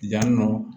Yan nɔ